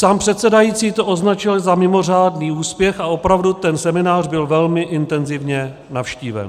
Sám předsedající to označil za mimořádný úspěch a opravdu ten seminář byl velmi intenzivně navštíven.